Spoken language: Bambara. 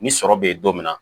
Ni sɔrɔ be yen don min na